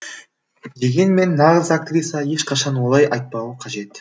дегенмен нағыз актриса ешқашан олай айтпауы қажет